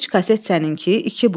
Üç kaset səninki, iki bu.